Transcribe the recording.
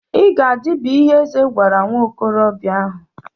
I ga-adị bụ ihe eze gwara nwa okorobịa ahụ.